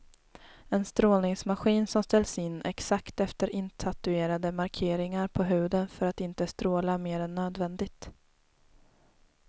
En strålningsmaskin som ställs in exakt efter intatuerade markeringar på huden för att inte stråla mer än nödvändigt.